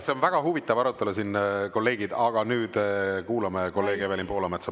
See on väga huvitav arutelu siin, kolleegid, aga nüüd kuulame kolleeg Evelin Poolametsa.